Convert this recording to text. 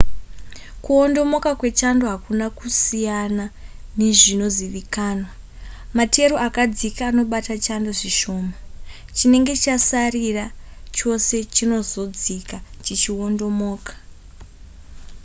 kuwondomoka kwechando hakuna kusiyana nezvinozivikanwa materu akadzika anobata chando zvishoma chinenge chasarira chose chinozodzika chichiwondomoka